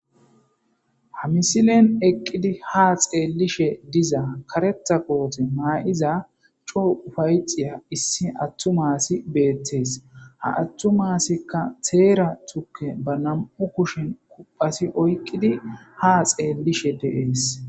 Ha misilen eqqidi ha xeellishe diza kareta qoote maa'iza choo ufayxiya issi attu maasi beettees ha attu maasikka teera tuke ba nam'u kushin kuphasi oyqqidi ha xeellishe deees.